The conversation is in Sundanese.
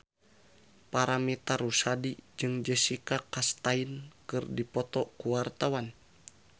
Paramitha Rusady jeung Jessica Chastain keur dipoto ku wartawan